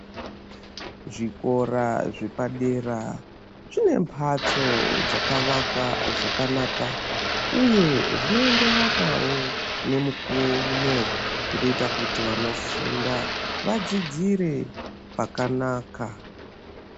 Zvikora zvepadera zvine mbatso dzakavakwa zvakanaka uye zvinoenderanawo nemukuwo uno zvinoita kuti vanofunda vadzidzire pakanaka.